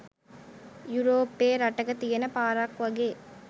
යුරෝපේ රටක තියෙන පාරක් වගේ.